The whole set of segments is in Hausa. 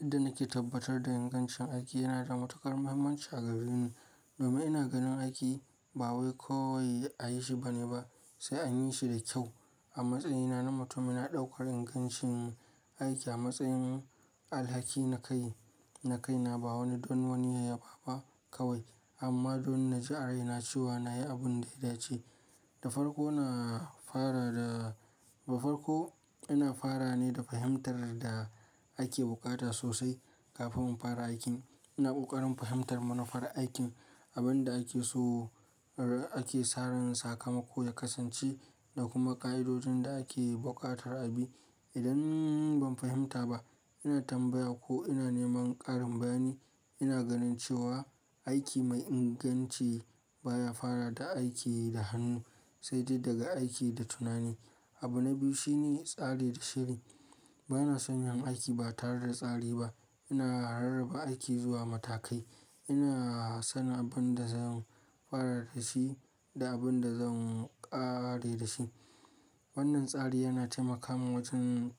Yanda nake tabbatar da ingancin aiki yana da matuƙar muhimmanci a gareni. Domin ina ganin aiki ba wai kawai a yi shi bane ba sai an yi shi da kyau. A matsayina na mutum ina ɗaukar ingancin aiki a matsayin alhaki na kai, na kai na ba wani don wani yayyafa ba kawai amma don na ji a raina cewa na yi abun da ya dace. Da farko na fara da, da farko ina fara ne da fahimtar da ake bukata sosai kafinn in fara aikin. Ina ƙoƙarin fahimtar manufar aikin, abin da ake so, ake saran sakamako ya kasance da kuma ƙa'idojin da ake buƙatar abi. Idan ban fahimta ba ina tambaya ko ina neman ƙarin bayani. Ina ganin cewa aiki mai inganci baya fara da aiki da hannu sai dai daga aiki da tunani. Abu na biyu shine tsari da shiri. Bana son yin aiki ba tare da tsari ba. Ina rarraba aiki zuwa matakai. Ina sanin abin da zan fara da shi da abin da zan ƙare da shi. Wannan tsari yana taimaka min wajen,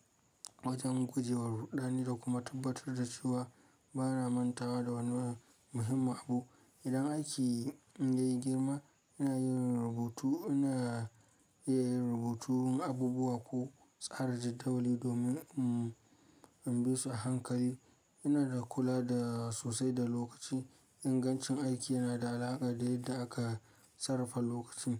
wajen guje wa rudani da kuma tabbatar da cewa bana manta da wani wani muhimmin abu. Idan aiki ya yi girma ina yin rubutu, ina yin rubutun abubuwa ko tsara jidauli domin in, in bi su a hankali. Ina kula da sosai da lokaci. Ingancin aiki yana da alaƙa da yadda aka sarrafa lokacin.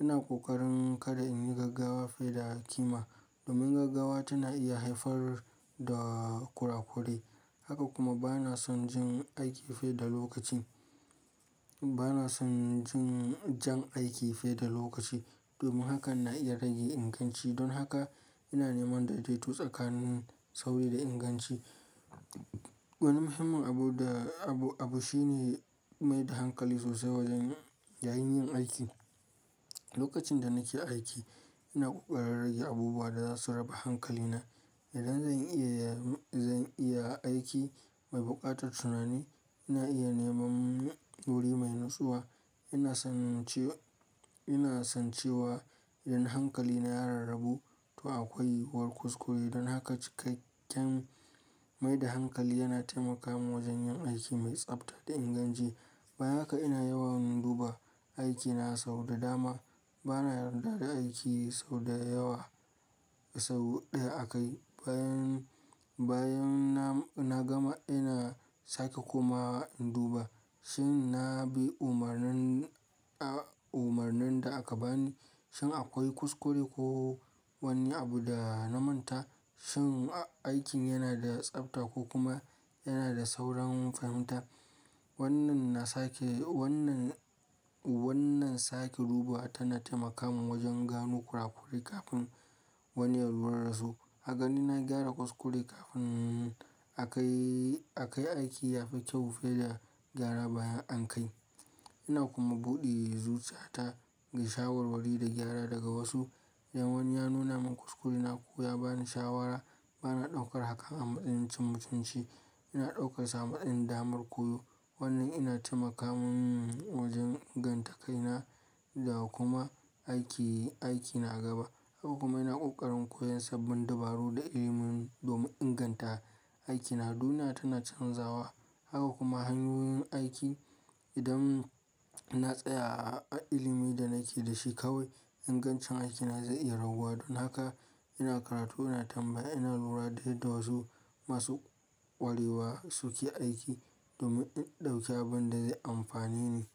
Ina ƙoƙarin kada in yi gaggawa fiye da ƙima domin gaggawa tana iya haifar da ƙuraƙurai. Haka kuma bana son jin aiki fiye da lokacin. Bana son jin jan aiki fiye da lokaci domin hakan na iya rage inganci. Don haka ina neman daidaito tsakanin sauri da inganci. Wani muhimmin abu da abu, abu shine mai da hankali sosai wajen yayin yin aiki. Lokacin da nake aiki ina ƙoƙarin rage abubuwa da za su raba hankali na. Idan zan iya, zan iya aiki mai buƙatar tunani ina iya neman wuri mai natsuwa. Ina san cewa idan hankali na ya rarrabu to akwai yiwuwar kuskure. Don haka cikakken mai da hankali yana taimaka min wajen yin aiki mai tsafta da inganci. Bayan haka ina yawan duba aikina sau da dama. Bana yarda da aiki sau da yawa sau ɗaya aka yi. Bayan, bayan na gama ina sake kuma in duba shin na bi umarnin, umarnin da aka bani, shin akwai kuskure ko wani abu da na manta, shin aikin yana da tsafta ko kuma yana da sauran fahimta. Wannan na sake, wannan, wannan sake duba tana taimaka min wajen gano ƙuraƙuri kafin wani ya lura da su. A ganin na gyara kuskure kafin aka yi, aka yi aiki ya fi kyau fiye da gyara bayan an kai. Ina kuma buɗe zuciyata ga shawarwari da gyara daga wasu. Idan wani ya nuna min kuskurena ko ya ba ni shawara bana ɗaukar hakan a matsayin cin mutunci. Ina ɗaukansa matsayin damar koyo. Wannan yana taimaka min wajen inganta kaina da kuma aiki, aiki na gaba. Haka kuma ina ƙoƙarin koyan sabbin dabaru da ilimin domin inganta aikina. Duniya tana canzawa. Haka kuma hanyoyin aiki. Idan na tsaya a ilimin da nake da shi kawai ingancin aikina zai iya raguwa. Don haka ina karatu, ina tambaya, ina lura da yadda wasu masu ƙwarewa suke aiki domin in ɗauki abin da zai amfane ni.